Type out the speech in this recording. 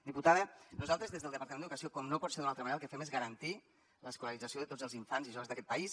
diputada nosaltres des del departament d’educació com no pot ser d’una altra manera el que fem és garantir l’escolarització de tots els infants i joves d’aquest país